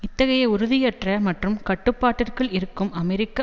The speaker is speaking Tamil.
இத்தகைய உறுதியற்ற மற்றும் கட்டுப்பாட்டிற்குள் இருக்கும் அமெரிக்க